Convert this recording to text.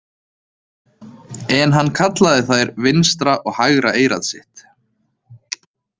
En hann kallaði þær „vinstra og hægra eyrað sitt“.